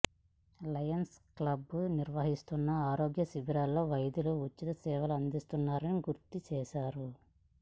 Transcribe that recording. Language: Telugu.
లయన్స్ క్లబ్లు నిర్వహిస్తున్న ఆరోగ్య శిబిరాల్లో వైద్యులు ఉచిత సేవలందిస్తున్నారని గుర్తు చేశారు